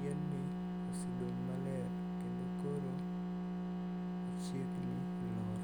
Yienni osedong' maler kendo koro ochiegni lwar.